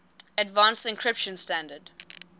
advanced encryption standard